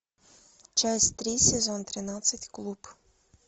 часть три сезон тринадцать клуб